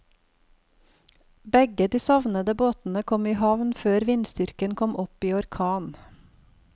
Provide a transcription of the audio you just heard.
Begge de savnede båtene kom i havn før vindstyrken kom opp i orkan.